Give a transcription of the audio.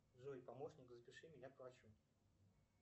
джой помощник запиши меня к врачу